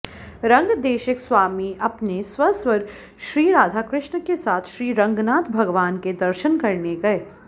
रंगदेशिक स्वामी अपने स्वसुर श्रीराधाकृष्ण के साथ श्रीरंगनाथ भगवान् के दर्शन करने गए